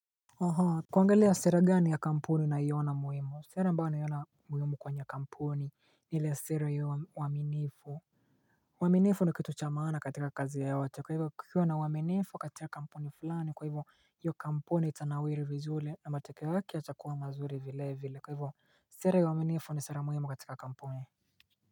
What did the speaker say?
Aha. Kuangalia sera gani ya kampuni unaiona muhimu. Sera ambayo naiona muhimu kwenye kampuni ni ile sera ya uaminifu. Uaminifu ni kitu cha maana katika kazi yoyote. Kwa hivyo kukiwa na uaminifu kati ya kampuni fulani. Kwa hivyo hiyo kampuni itanawiri vizuri na matokeo yake yatakuwa mazuri vile vile. Kwa hivyo sera ya uaminifu ni sera muhimu katika kampuni.